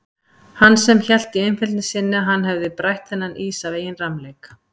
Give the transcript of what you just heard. Hann sem hélt í einfeldni sinni að hann hefði brætt þennan ís af eigin rammleik.